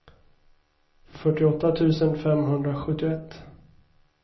fyrtioåtta tusen femhundrasjuttioett